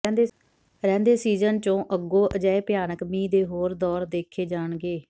ਰਹਿੰਦੇ ਸੀਜਨ ਚ ਅੱਗੋਂ ਅਜਿਹੇ ਭਿਆਨਕ ਮੀਂਹ ਦੇ ਹੋਰ ਦੌਰ ਦੇਖੇ ਜਾਣਗੇ